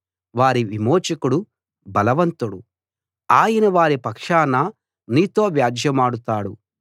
వారి విమోచకుడు బలవంతుడు ఆయన వారి పక్షాన నీతో వ్యాజ్యెమాడుతాడు